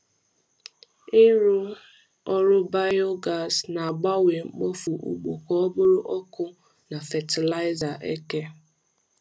Ịrụ ọrụ biogas na-agbanwe mkpofu ugbo ka ọ bụrụ ọkụ na fatịlaịza eke.